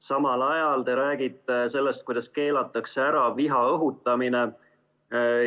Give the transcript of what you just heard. Samal ajal te räägite sellest, kuidas keelatakse ära viha õhutamine.